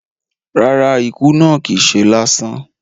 Rárá, ikú náà kìí se lásán